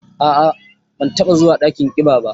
A'a, ban taba zuwa dakin ƙiba ba.